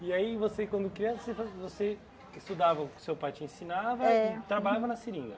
E aí você, quando criança, você você estudava o que o seu pai te ensinava e trabalhava na seringa?